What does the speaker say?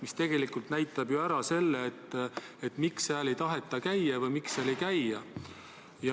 See tegelikult näitab ju ära, miks seal ei taheta käia või miks seal ei käida.